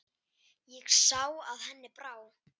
Ég sá að henni brá.